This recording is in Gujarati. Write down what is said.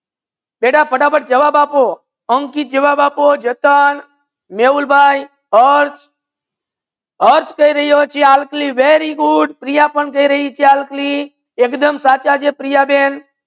બેટા ફટાફટ જવાબ આપ પો અંકિત જવાબ આપ પો, જતન, મેહુલ ભાઈ, અર્થ અર્થ કહી રહીયો છે ચાલપી very good પ્રિયા પણ કહી રાહી છે ચાલપી એકદમ સચ્ચા છે પ્રિયા બેન